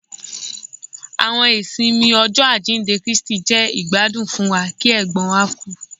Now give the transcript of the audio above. Àwọn ìsinmi Ọjọ ajinde Kristi jẹ igbadun fún wa ki ègbón wa ku